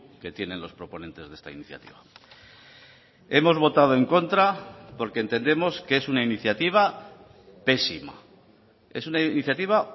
que tienen los proponentes de esta iniciativa hemos votado en contra porque entendemos que es una iniciativa pésima es una iniciativa